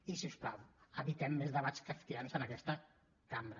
i si us plau evitem més debats kafkians en aquesta cambra